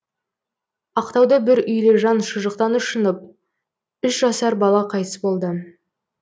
ақтауда бір үйлі жан шұжықтан ұшынып үш жасар бала қайтыс болды